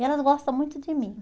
E elas gostam muito de mim.